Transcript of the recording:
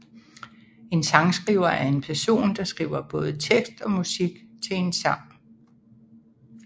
En sangskriver er en person der skriver både tekst og musik til en sang